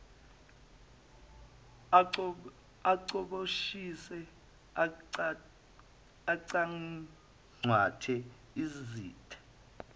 acoboshise acangcathe isitha